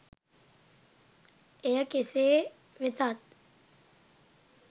එය කෙසේ වෙතත්